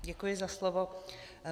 Děkuji za slovo.